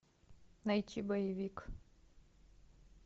найти боевик